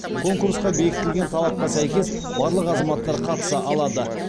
конкурсқа бекітілген талапқа сәйкес барлық азаматтар қатыса алады